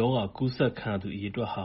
ရောဂါ ကူးစက်ခံရသူ အရေအတွက် ၉